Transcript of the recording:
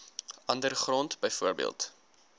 ander grond bv